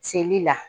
Seli la